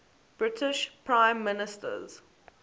british prime ministers